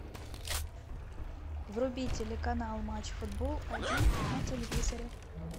вруби телеканал матч футбол один на телевизоре